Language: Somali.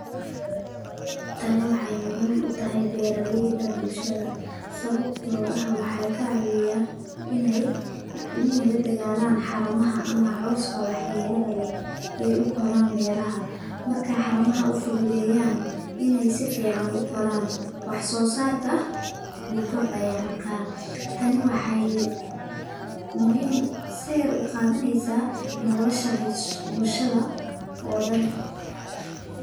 Tani waxeey muhiim utahay beeraleyda bulshada, sababta oo ah waxeey ka caawisa ineey la dagaalan haramaha ama cooska wax yeelaha leh ee ukoraan beeraha, markeey xaramaha ufudeedyan, inaay si fican ukoran, wax soo saarka wuu kordaaya Marka, tani waxeey muhiim utahay nolosha bulshada oo dan.